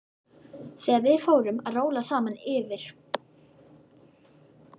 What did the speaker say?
Þegar við fórum að róla saman yfir